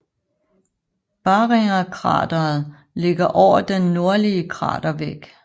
Barringerkrateret ligger over den nordlige kratervæg